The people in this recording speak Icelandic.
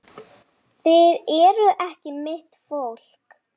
Þið eruð ekki mitt fólk.